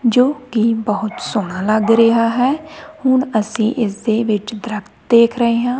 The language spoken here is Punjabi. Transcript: ਜੋ ਕਿ ਬਹੁਤ ਸੋਹਣਾ ਲੱਗ ਰਿਹਾ ਹੈ ਹੁਣ ਅਸੀਂ ਇਸ ਦੇ ਵਿੱਚ ਦਰਖਤ ਦੇਖ ਰਹੇ ਹਾਂ।